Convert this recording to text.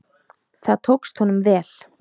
Það tókst honum vel.